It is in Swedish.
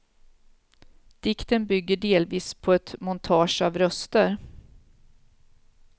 Dikten bygger delvis på ett montage av röster.